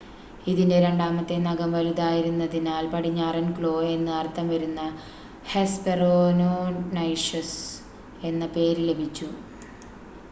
"ഇതിന്റെ രണ്ടാമത്തെ നഖം വലുതായിരുന്നതിനാൽ "പടിഞ്ഞാറൻ ക്ലോ" എന്ന് അർത്ഥം വരുന്ന ഹെസ്‌പെറോനൈഷസ് എന്ന പേര് ലഭിച്ചു.